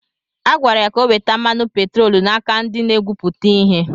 Agwara ya ka o weta mmanụ petroolu n’aka ndị na-egwupụta ihe.